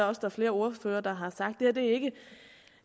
også flere ordførere der har sagt er ikke